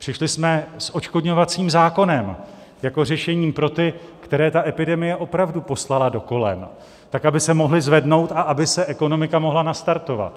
Přišli jsme s odškodňovacím zákonem jako řešením pro ty, které ta epidemie opravdu poslala do kolen, tak aby se mohli zvednout a aby se ekonomika mohla nastartovat.